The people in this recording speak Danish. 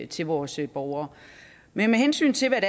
til vores borgere men med hensyn til hvad